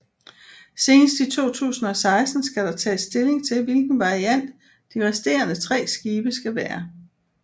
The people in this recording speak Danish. Senest i 2016 skal der tages stilling til hvilken variant de resterende tre skibe skal være